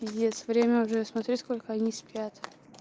пиздец время уже смотри сколько они спят